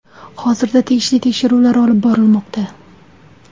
Hozirda tegishli tekshiruvlar olib borilmoqda.